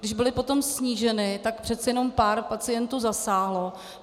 Když byly potom sníženy, tak přece jenom pár pacientů zasáhlo.